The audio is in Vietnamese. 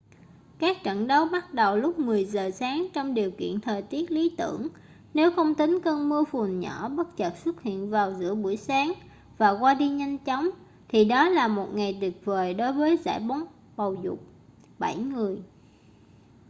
các trận đấu bắt đầu lúc 10 giờ sáng trong điều kiện thời tiết lý tưởng nếu không tính cơn mưa phùn nhỏ bất chợt xuất hiện vào giữa buổi sáng và qua đi nhanh chóng thì đó là một ngày tuyệt vời đối với giải bóng bầu dục bảy người